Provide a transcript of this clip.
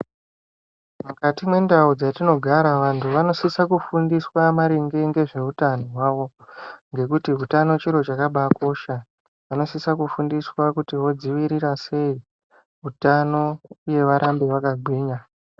Mukati mwe ndau dzatino gara vantu vanosisa kufundiswa maringe ngezve hutano hwawo ngekuti hutano chiro chakabai kosha vanosisa kufundiswa kuti vodzivirira sei hutano uye varambe vakagwinya.